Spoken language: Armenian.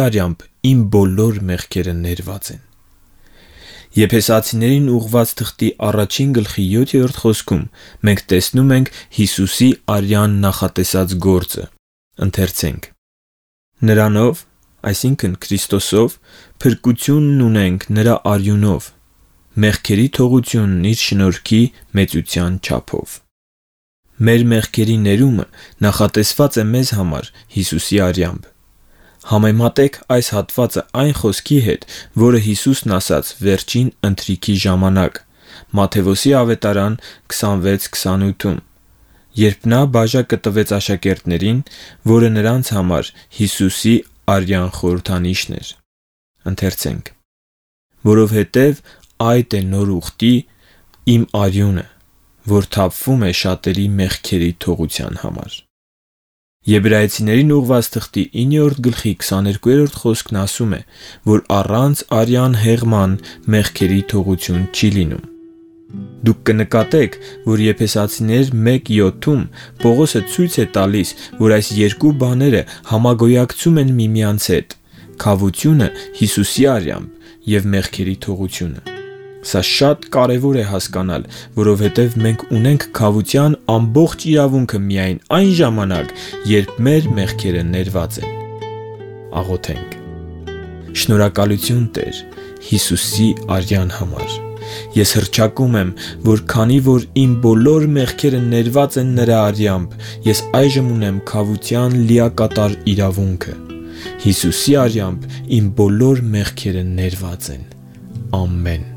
արյամբ իմ բոլոր մեղքերը ներված են։ Եփեսացիներին 1:7-ում մենք տեսնում ենք Հիսուսի արյան նախատեսած գործը. «Նրանով (Քրիստոսով) փրկությունն ունենք նրա արյունով՝ մեղքերի թողությունն իր շնորհի մեծության չափով»։ Մեր մեղքերի ներումը նախատեսված է մեզ համար Հիսուսի արյամբ։ Համեմատե՛ք այս հատվածը այն խոսքի հետ, որը Հիսուսն ասաց Վերջին ընթրիքի ժամանակ Մատթեոս ավետարանի 26:28-ում, երբ նա բաժակը տվեց աշակերտներին, որը նրանց համար Հիսուսի արյան խորհրդանիշն էր. «Որովհետև այդ է նոր ուխտի (կտակարանի) իմ արյունը, որ թափվում է շատերի մեղքերի թողության համար»։ Եբրայեցիներին 9:22-ն ասում է, որ առանց արյան հեղման, մեղքերի թողություն չի լինում։ Դուք կնկատեք, որ Եփեսացիներին 1:7-ում Պողոսը ցույց է տալիս, որ այս երկու բաները համագոյակցում են միմյանց հետ. քավությունը Հիսուսի արյամբ և մեղքերի թողությունը։ Սա շատ կարևոր է հասկանալ, որովհետև մենք ունենք քավության ամբողջ իրավունքը միայն այն ժամանակ, երբ մեր մեղքերը ներված են։ Շնորհակալությու՛ն, Տե՛ր, Հիսուսի արյան համար։ Ես հռչակում եմ, որ քանի որ իմ բոլոր մեղքերը ներված են նրա արյամբ, ես այժմ ունեմ քավության լիակատար իրավունքը։ Հիսուսի արյամբ իմ բոլոր մեղքերը ներված են։ Ամեն։